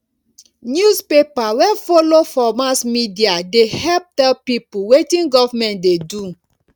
newspaper wey folo for mass media dey help tell pipo wetin government dey do